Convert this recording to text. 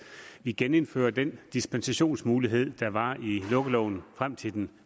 vi genindfører den dispensationsmulighed der var i lukkeloven frem til den